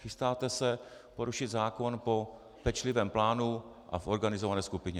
Chystáte se porušit zákon po pečlivém plánu a v organizované skupině.